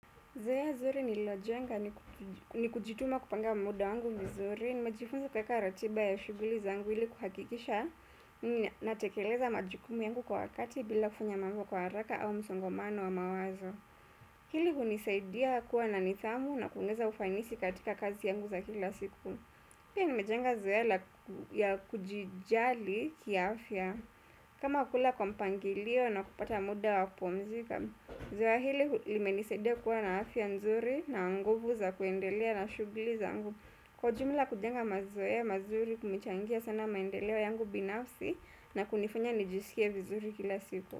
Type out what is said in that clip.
Zoea zuri nililojenga ni kujituma kupanga muda wangu vizuri, nimejifunza kueka ratiba ya shuguli zangu ili kuhakikisha, natekeleza majukumu yangu kwa wakati bila kufanya mambo kwa haraka au msongomano wa mawazo. Hili hunisaidia kuwa na nithamu na kueneza ufainisi katika kazi yangu za kila siku. Pia nimejenga zoea ya kujijali kia afya. Kama kukula kwa mpangilio na kupata muda wakupumzika, zoea hili limenisaidia kuwa na afya nzuri na nguvu za kuendelea na shugli zangu. Kwa jumla kujenga mazoea ya mazuri kumechangia sana maendeleo yangu binafsi na kunifanya nijisikie vizuri kila siku.